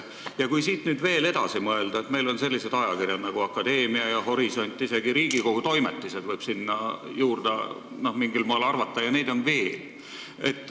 Ja kui siit veel edasi mõelda, siis meil on olemas sellised ajakirjad nagu Akadeemia ja Horisont, isegi Riigikogu Toimetised võib mingis mõttes sinna hulka arvata ja neid on veel.